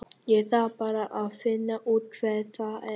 Ég þarf bara að finna út hver það er.